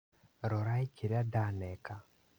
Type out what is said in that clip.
Rorai kĩrĩa ndaneka